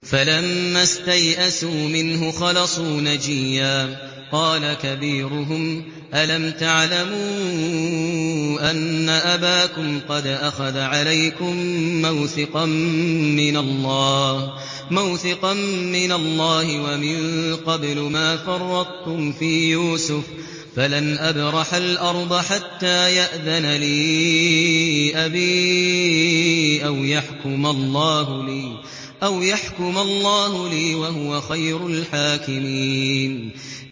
فَلَمَّا اسْتَيْأَسُوا مِنْهُ خَلَصُوا نَجِيًّا ۖ قَالَ كَبِيرُهُمْ أَلَمْ تَعْلَمُوا أَنَّ أَبَاكُمْ قَدْ أَخَذَ عَلَيْكُم مَّوْثِقًا مِّنَ اللَّهِ وَمِن قَبْلُ مَا فَرَّطتُمْ فِي يُوسُفَ ۖ فَلَنْ أَبْرَحَ الْأَرْضَ حَتَّىٰ يَأْذَنَ لِي أَبِي أَوْ يَحْكُمَ اللَّهُ لِي ۖ وَهُوَ خَيْرُ الْحَاكِمِينَ